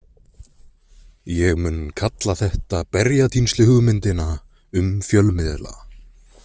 Ég mun kalla þetta berjatínsluhugmyndina um fjölmiðla.